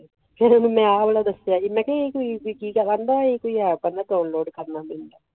ਫਿਰ ਮੇਂ ਉਹਨੂੰ ਆਹ ਬਾਰੇ ਦੱਸਿਆ ਕ ਇਹ ਕੋਈ ਹੈ ਕਾਰਨ ਪੈਣਾ